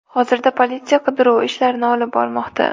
Hozirda politsiya qidiruv ishlarini olib bormoqda.